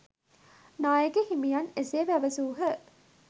නායක හිමියන් එසේ පැවසූහ